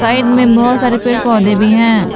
Side में बहुत सारे पेड़ पौधे भी हैं।